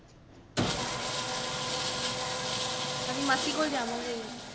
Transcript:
ਮਾਸੀ ਕੋਲ ਜਾਵਾਂਗੇ